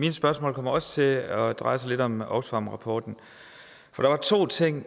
mine spørgsmål kommer også til at dreje sig lidt om oxfam rapporten for der er to ting